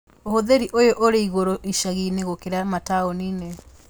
Ũhũthĩri ũyũ ũrĩ igũrũ icagi inĩ gũkĩra mataũni-inĩ